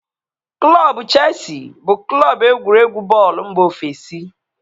Klọbu Cheesi bụ Klọbu egwuregwu bọọlụ mba ofesi